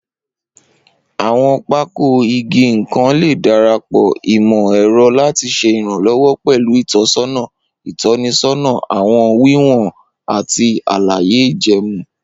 Awọn pákò ìgé-nnkan le darapọ imọ-ẹrọ lati ṣe iranlọwọ pẹlu itọsọna itọnisọna, awọn wiwọn, ati alaye ijẹẹmu.